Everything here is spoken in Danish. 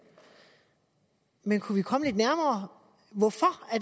men kunne vi komme lidt nærmere hvorfor